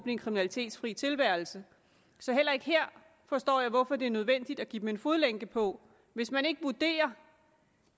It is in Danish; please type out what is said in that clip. en kriminalitetsfri tilværelse så heller ikke her forstår jeg hvorfor det er nødvendigt at give dem en fodlænke på hvis man ikke vurderer